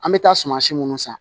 An bɛ taa suma si minnu san